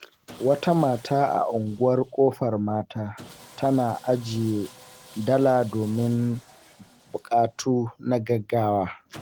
Wata mata a Unguwar Kofar Mata tana ajiye dala domin bukatu na gaggawa.